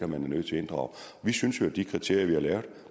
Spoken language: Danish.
man er nødt til at inddrage vi synes jo at de kriterier vi har lavet